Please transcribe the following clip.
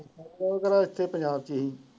ਕਿਹੜਾ ਪੰਜਾਬ ਵਿੱਚ ਸੀ।